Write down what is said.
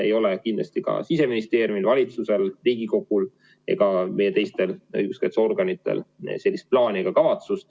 Ei ole kindlasti ka Siseministeeriumil, valitsusel, Riigikogul ega meie õiguskaitseorganitel sellist plaani ega kavatsust.